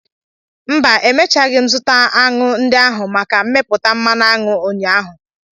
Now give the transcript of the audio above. Mba, emechaghị m zụta aṅụ ndị ahụ maka mmepụta mmanụ aṅụ ụnyaahụ.